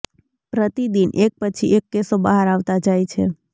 પ્રતિદિન એક પછી એક કેસો બહાર આવતા જાય છે